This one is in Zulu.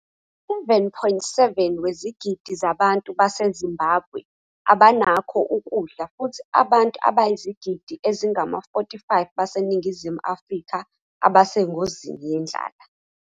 7.7 wezigidi zabantu baseZimbabwe abanakho ukudla futhi abantu abayizigidi ezingama-45 baseNingizimu Afrika abasengozini yendlala.